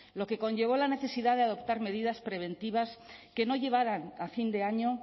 lo que conllevó a la necesidad de adoptar medidas preventivas que no llevaran a fin de año